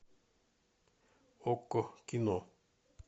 окко кино